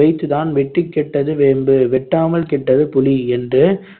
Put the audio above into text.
வைத்துதான் வெட்டிக் கெட்டது வேம்பு வெட்டாமல் கெட்டது புளி என்று